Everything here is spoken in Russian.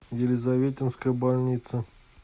елизаветинская больница